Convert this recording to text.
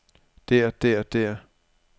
der der der